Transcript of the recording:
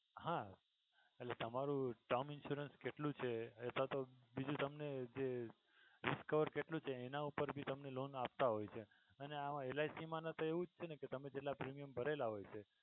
હા એટલે તમારું term insurance કેટલું છે એ તો તમને બીજુ જે discover કેટલું છે એના ઉપર થી તમને loan આપતા હોય છે અને આમાં LIC મા તો એવું જ છે કે તમે જેટલા premium ભરેલા હોય છે.